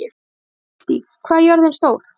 Kiddý, hvað er jörðin stór?